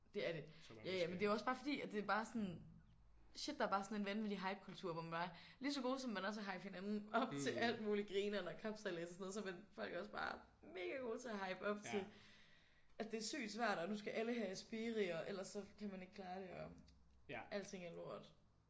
Det er det. Ja ja men det er også bare fordi at det er bare sådan shit der er bare sådan en vanvittig hypekultur hvor man bare lige så gode som man er til at hype hinanden op til alt muligt grineren og kapsejlads og sådan noget så er folk også bare mega gode til at hype op til at det er sygt svært og nu skal alle have Aspiri og ellers så kan man ikke klare det og alting er lort